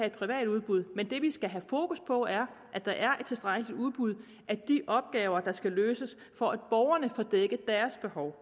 et privat udbud men det vi skal have fokus på er at der er et tilstrækkeligt udbud at de opgaver der skal løses for at borgerne får dækket deres behov